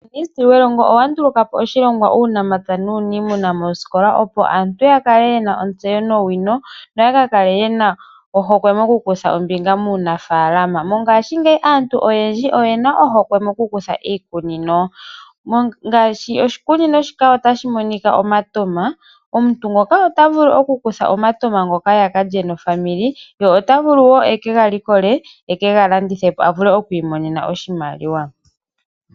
Uuministeli welongo owa ndulukapo oshilongwa uunamapya nuuniimuna mooskola opo aantu ya kale ye na ontseyo, nowino no ya ka kale ye na ohokwe moku kutha ombinga muuna faalama. Mongashingeyi aantu oyendji oye na ohokwe moku kutha iikunino, ngaashi oshikunino shika ota shi monika omatoma, omuntu ngoka ota vulu okukutha omatoma ngoka ya kale nofamili, ye ota vulu oku ga likola, eke ga landithe po imonene oshimaliwa.